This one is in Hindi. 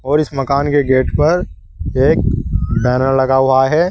और इस मकान के गेट पर एक बैनर लगा हुआ है।